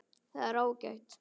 Það er ágætt.